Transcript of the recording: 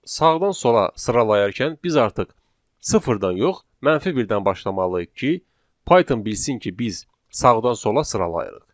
Sağdan sola sıralayarkən biz artıq sıfırdan yox, mənfi birdən başlamalıyıq ki, Python bilsin ki, biz sağdan sola sıralayırıq.